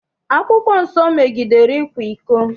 Akwụkwọ nsọ megidere ịkwa iko.